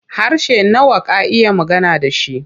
Harshe nawa ka iya magana da shi?